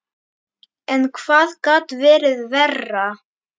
En hvað gat verið verra?